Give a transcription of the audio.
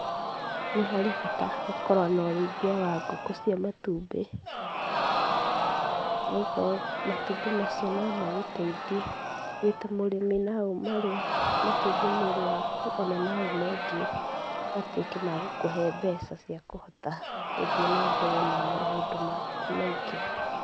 Nĩ harĩ bata gũkorwo na ũrĩithia wa ngũkũ cia matumbĩ. Nĩ gũkorwo matumbĩ macio no magũteithie wĩ ta mũrĩmi. No ũmarĩe mateithie mwĩrĩ waku, ona no ũmendie matuĩke magũkũhe mbeca cia kũhota gũthiĩ na mbere na maũndũ maku maingĩ.